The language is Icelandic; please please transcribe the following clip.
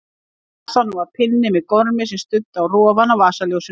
Í kassanum var pinni með gormi sem studdi á rofann á vasaljósinu.